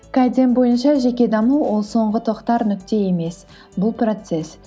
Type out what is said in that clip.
кайдзен бойынша жеке даму ол соңғы тоқтар нүкте емес бұл процесс